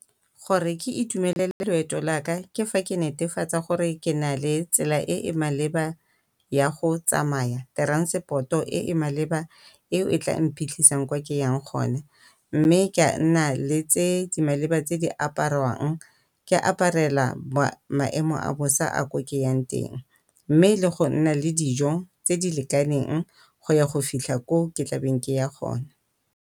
Gore ke itumelele loeto laka ke fa ke netefatsa gore ke na le tsela e e maleba ya go tsamaya. Transport-o e e maleba eo e tla mphitlhisang kwa ke yang gone, mme ke a nna le tse di maleba tse di apararwang ke aparela maemo a bosa a ko ke yang teng. Mme le go nna le dijo tse di lekaneng go ya go fitlha ko ke tlabeng ke ya gona.